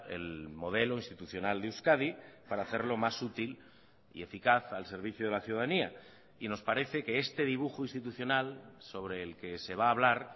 el modelo institucional de euskadi para hacerlo más útil y eficaz al servicio de la ciudadanía y nos parece que este dibujo institucional sobre el que se va a hablar